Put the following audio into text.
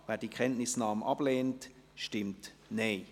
wer die Kenntnisnahme ablehnt, stimmt Nein.